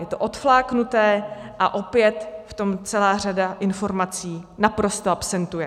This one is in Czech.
Je to odfláknuté a opět v tom celá řada informací naprosto absentuje.